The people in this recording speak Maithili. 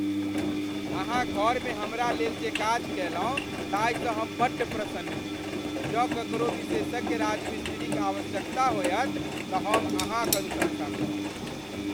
अहाँ घरमे हमरा लेल जे काज कयलहुँ ताहिसँ हम बड्ड प्रसन्न छी। जँ ककरो विशेषज्ञ राजमिस्त्रीक आवश्यकता होयत तऽ हम अहाँक अनुशंसा करब।